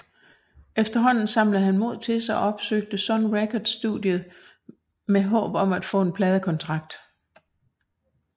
Efterhånden samlede han mod til sig og opsøgte Sun Records studiet med håb om at få en pladekontrakt